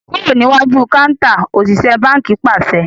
Kúrò níwájú kántà! Òṣìṣẹ́ báńkì pàṣẹ.